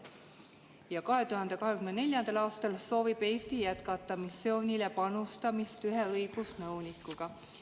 Ja 2024. aastal soovib Eesti jätkata missioonile panustamist ühe õigusnõunikuga.